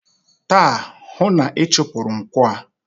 Taa, hụụ na-ịchụpụrụ nkwọ a!